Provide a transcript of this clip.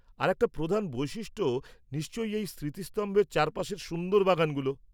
-আরেকটা প্রধান বৈশিষ্ট্য নিশ্চয়ই এই স্মৃতিস্তম্ভের চারপাশের সুন্দর বাগানগুলো।